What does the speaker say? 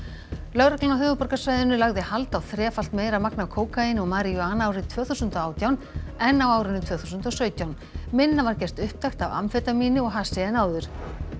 lögreglan á höfuðborgarsvæðinu lagði hald á þrefalt meira magn af kókaíni og maríjúana árið tvö þúsund og átján en á árinu tvö þúsund og sautján minna var gert upptækt af amfetamíni og hassi en áður